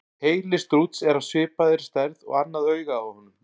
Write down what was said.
Heili strúts er af svipaði stærð og annað augað á honum.